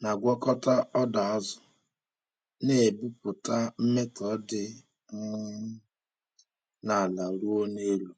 na-agwakọta ọdọ azụ, na-ebupụta mmetọ dị um n’ala ruo n’elu.